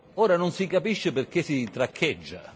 Ora non si capisce perché si traccheggia.